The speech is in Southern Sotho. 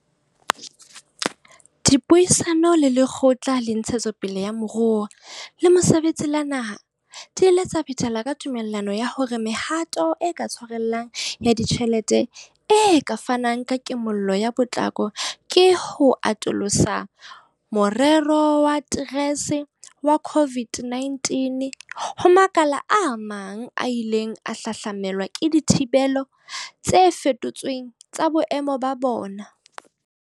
Dipuisano le Lekgotla la Ntshetsopele ya Moruo le Mosebetsi la Naha di ile tsa phethela ka tumellano ya hore mehato e ka tshwarellang ya ditjhelete e ka fanang ka kimollo ka potlako ke ho atolosa moremo wa TERS wa COVID-19 ho makala a mang a ileng a hahlamelwa ke dithibelo tse feto tsweng tsa boemo ba bone.